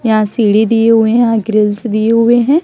यहाँ सीढ़ी दिए हुए है यहाँ ग्रिल्स दिए हुए है।